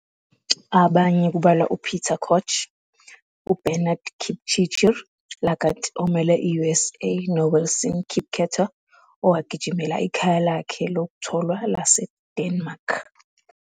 Abanye kubalwa uPeter Koech, uBernard Kipchirchir Lagat omele i-USA noWilson Kipketer owagijimela ikhaya lakhe lokutholwa laseDenmark.